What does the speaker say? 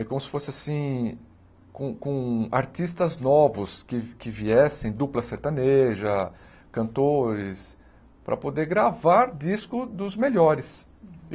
É como se fosse assim, com com artistas novos que que viessem, dupla sertaneja, cantores, para poder gravar disco dos melhores.